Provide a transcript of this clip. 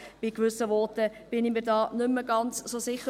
Angesichts gewisser Voten bin ich mir da nicht mehr ganz so sicher.